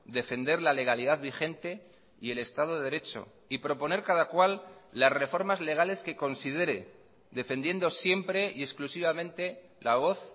defender la legalidad vigente y el estado de derecho y proponer cada cual las reformas legales que considere defendiendo siempre y exclusivamente la voz